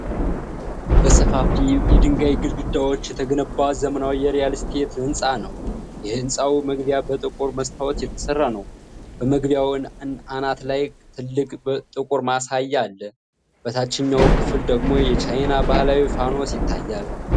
በሰፋፊ የድንጋይ ግድግዳዎች የተገነባ ዘመናዊ የሪል ስቴት ሕንፃ ነው። የህንጻው መግቢያ በጥቁር መስታወት የተሰራ ነው። በመግቢያው አናት ላይ ትልቅ ጥቁር ማሳያ አለ፤ በታችኛው ክፍል ደግሞ የቻይና ባህላዊ ፋኖስ ይታያል።